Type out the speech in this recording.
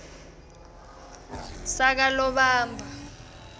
sakalobamba